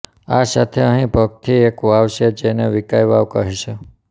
આ સાથે અહીં પગથી એક વાવ છે જેને વિકાઈ વાવ કહે છે